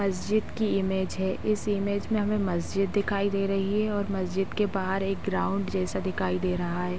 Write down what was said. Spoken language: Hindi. मस्जिद की इमेज है। इस इमेज में हमें मस्जिद दिखाई दे रही है और मस्जिद के बाहर एक ग्राउंड जैसा दिखाई दे रहा है।